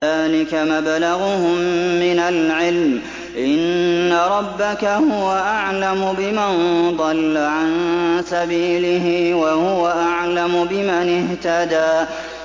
ذَٰلِكَ مَبْلَغُهُم مِّنَ الْعِلْمِ ۚ إِنَّ رَبَّكَ هُوَ أَعْلَمُ بِمَن ضَلَّ عَن سَبِيلِهِ وَهُوَ أَعْلَمُ بِمَنِ اهْتَدَىٰ